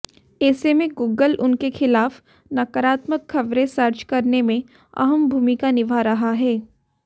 ऐसे में गूगल उनके खिलाफ नकारात्मक खबरें सर्च करने में अहम भूमिका निभा रहा है